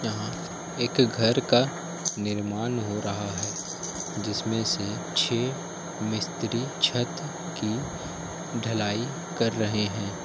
यहाँ एक घर का निर्माण हो रहा है जिसमें से छे मिस्त्री छत की ढलाई कर रहे हैं।